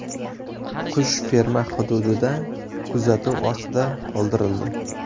Qush ferma hududida kuzatuv ostida qoldirildi.